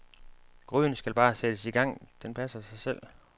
Gryden skal bare sættes i gang, den passer sig selv.